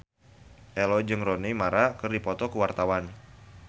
Ello jeung Rooney Mara keur dipoto ku wartawan